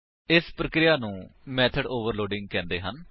ਇਸ ਪਰਿਕ੍ਰੀਆ ਨੂੰ ਮੇਥਡ ਓਵਰਲੋਡਿੰਗ ਕਹਿੰਦੇ ਹਨ